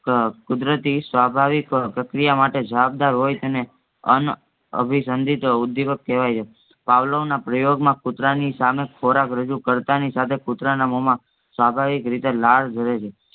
ક કુદરતી સ્વાભાવિક પ્રતિક્રિયામાટે જબાબદાર હોયછે ને અનઅભિસંધિત ઉદ્દીપક કેવાય છે. પાવલોના પ્રયોગમાં કૂતરાની સામે ખોરાક રજૂ કર્તાનીસાથે કૂટરના મોહમાં સ્વભાવિકરીતે લાળ ઝરે છે